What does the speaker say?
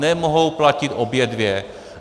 Nemohou platit obě dvě.